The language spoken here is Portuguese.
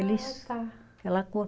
Ah tá, aquela cor.